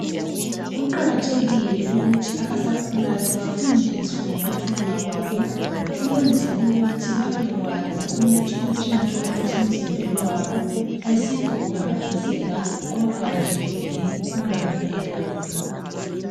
Kuqakathekile ukuthi abasakhulayo bafundiswe ngokuthomba kwabo ukwenzela ukuthi babekwazi ukuthi utshintsho olusemzimbeni wabo ayisikho kuphambaniseka kodwa nje yikukhula kuphela.